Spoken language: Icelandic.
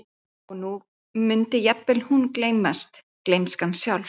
Og nú mundi jafnvel hún gleymast, gleymskan sjálf.